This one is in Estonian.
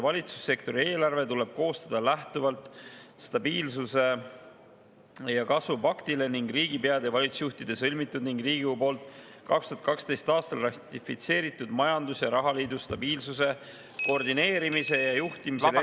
Valitsussektori eelarve tuleb koostada lähtuvalt stabiilsuse ja kasvu paktist ning riigipeade ja valitsusjuhtide sõlmitud ning Riigikogu poolt 2012. aastal ratifitseeritud majandus‑ ja rahaliidu stabiilsuse, koordineerimise ja juhtimise lepingust …